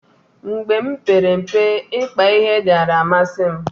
mgbe m mpere mpe, ikpa ihe diara amasi m